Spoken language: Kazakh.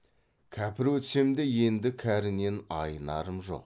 кәпір өтсем де енді кәрінен айнарым жоқ